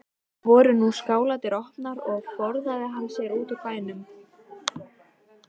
Voru nú skáladyr opnar og forðaði hann sér úr bænum.